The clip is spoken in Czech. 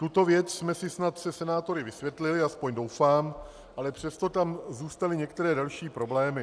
Tuto věc jsme si snad se senátory vysvětlili, aspoň doufám, ale přesto tam zůstaly některé další problémy.